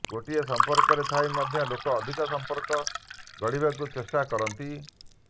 ଗୋଟିଏ ସଂପର୍କରେ ଥାଇ ମଧ୍ୟ ଲୋକ ଅଧିକ ସଂପର୍କ ଗଢିବାକୁ ଚେଷ୍ଟା କରନ୍ତି